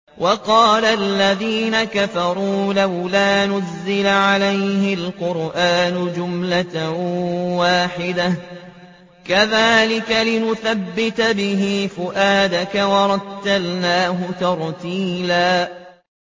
وَقَالَ الَّذِينَ كَفَرُوا لَوْلَا نُزِّلَ عَلَيْهِ الْقُرْآنُ جُمْلَةً وَاحِدَةً ۚ كَذَٰلِكَ لِنُثَبِّتَ بِهِ فُؤَادَكَ ۖ وَرَتَّلْنَاهُ تَرْتِيلًا